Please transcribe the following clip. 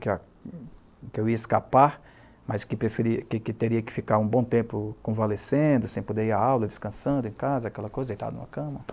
Que a que eu ia escapar, mas que preferia, que teria que ficar um bom tempo convalescendo, sem poder ir à aula, descansando em casa, aquela coisa, deitar em uma cama.